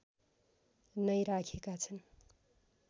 नै राखेका छन्